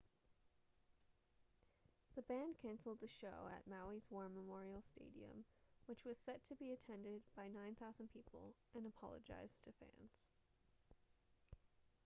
the band canceled the show at maui's war memorial stadium which was set to be attended by 9,000 people and apologized to fans